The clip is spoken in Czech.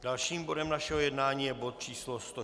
Dalším bodem našeho jednání je bod číslo